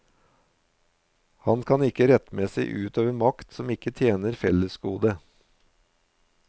Han kan ikke rettmessing utøve makt som ikke tjener fellesgodet.